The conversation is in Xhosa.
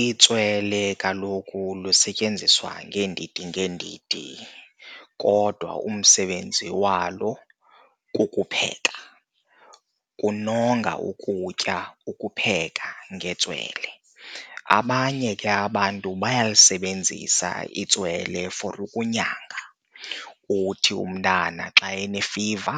Itswele kaloku lusetyenziswa ngeendidi ngeendidi kodwa umsebenzi walo kukupheka, kunonga ukutya ukupheka ngentswele. Abanye ke abantu bayalisebenzisa itswele for ukunyanga. Uthi umntana xa enefiva,